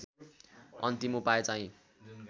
अन्तिम उपाए चाहिँ